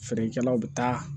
Feerekɛlaw bi taa